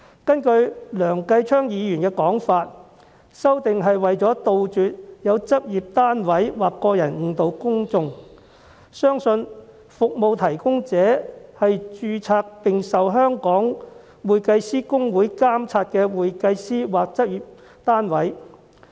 根據梁繼昌議員的說法，修訂是為了杜絕有執業單位或個人作出誤導，使公眾相信服務提供者是獲香港會計師公會註冊的會計師或執業單位。